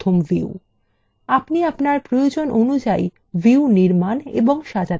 আপনি আপনার প্রয়োজন অনুযায়ী views নির্মাণ ও সাজাতে পারেন